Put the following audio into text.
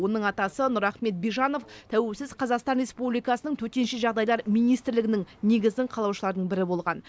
оның атасы нұрахмет бижанов тәуелсіз қазақстан республикасының төтенше жағдайлар министрлігінің негізін қалаушылардың бірі болған